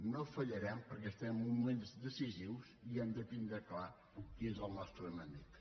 no fallarem perquè estem en uns moments decisius i hem de tindre clar qui és el nostre enemic